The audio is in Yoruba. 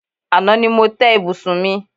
Àná ni mo té̩ ibùsùn mi.